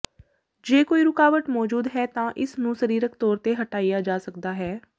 ਜੇ ਕੋਈ ਰੁਕਾਵਟ ਮੌਜੂਦ ਹੈ ਤਾਂ ਇਸ ਨੂੰ ਸਰੀਰਕ ਤੌਰ ਤੇ ਹਟਾਇਆ ਜਾ ਸਕਦਾ ਹੈ